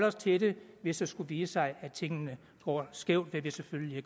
os til det hvis det skulle vise sig at tingene går skævt hvad vi selvfølgelig